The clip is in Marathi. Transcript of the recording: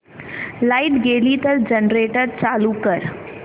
लाइट गेली तर जनरेटर चालू कर